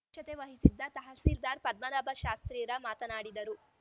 ಅಧ್ಯಕ್ಷತೆ ವಹಿಸಿದ್ದ ತಹಸೀಲ್ದಾರ್‌ ಪದ್ಮನಾಭ ಶಾಸ್ತ್ರೀರ ಮಾತನಾಡಿದರು